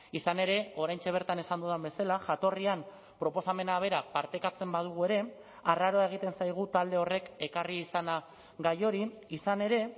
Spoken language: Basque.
izan ere oraintxe bertan esan dudan bezala jatorrian proposamena bera partekatzen badugu ere arraroa egiten zaigu talde horrek ekarri izana gai hori izan ere